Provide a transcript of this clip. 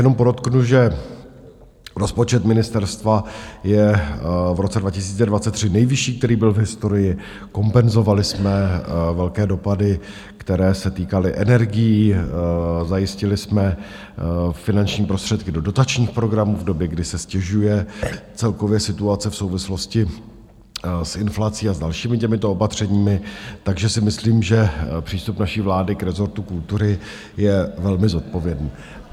Jenom podotknu, že rozpočet ministerstva je v roce 2023 nejvyšší, který byl v historii, kompenzovali jsme velké dopady, které se týkaly energií, zajistili jsme finanční prostředky do dotačních programů v době, kdy se ztěžuje celkově situace v souvislosti s inflací a s dalšími těmito opatřeními, takže si myslím, že přístup naší vlády k rezortu kultury je velmi zodpovědný.